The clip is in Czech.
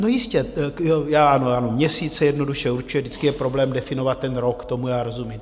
No jistě, ano, měsíc se jednoduše určuje, vždycky je problém definovat ten rok, tomu já rozumím.